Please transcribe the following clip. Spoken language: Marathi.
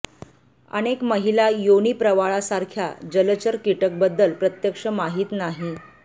अनेक महिला योनी प्रवाळासारखा जलचर कीटक बद्दल प्रत्यक्ष माहीत नाही